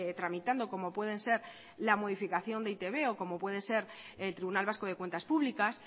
tramitando como pueden ser la modificación del e i te be o como puede ser el tribunal vasco de cuentas públicas